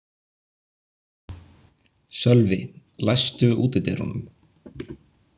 Sölvi, læstu útidyrunum.